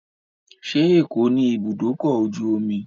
Ṣé Èkó ní ibùdókọ̀-ojú-omi?